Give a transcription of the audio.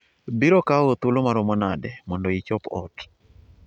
biro kawo thuolo maomo nade mondo ichop ot